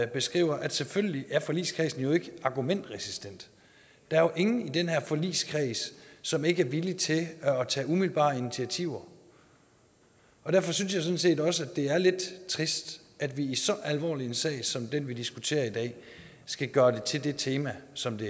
beskriver at selvfølgelig er forligskredsen jo ikke argumentresistent der er jo ingen i den her forligskreds som ikke er villig til at tage umiddelbare initiativer og derfor synes jeg sådan set også at det er lidt trist at vi i så alvorlig en sag som den vi diskuterer i dag skal gøre det til det tema som det